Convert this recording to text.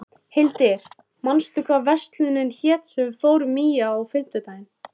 Hildir, manstu hvað verslunin hét sem við fórum í á fimmtudaginn?